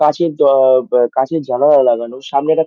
কাঁচের জ-অ-অ ব কাঁচের জানালা লাগানো সামনে এক--